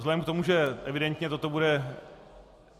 Vzhledem k tomu, že evidentně toto bude...